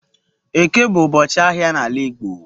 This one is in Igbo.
Eke bu ubochi ahia n'ala igbo.